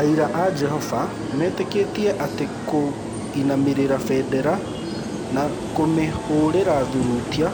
Aira a Jehova metĩkĩtie atĩ kũinamĩrĩra bendera kana kũmĩhũũrĩra thurutia,